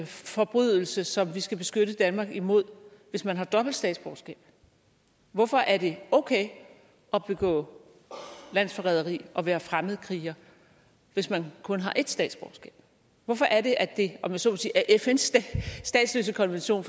forbrydelse som vi skal beskytte danmark imod hvis man har dobbelt statsborgerskab hvorfor er det okay at begår landsforræderi at være fremmedkriger hvis man kun har ét statsborgerskab hvorfor er det at det om jeg så må sige er fns statsløsekonvention